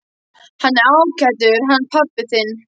Hann er ágætur hann pabbi þinn.